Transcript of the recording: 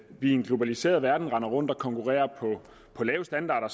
vi i en globaliseret verden render rundt og konkurrerer på lave standarder